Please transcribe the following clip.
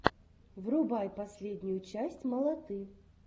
врубай последнюю часть малаты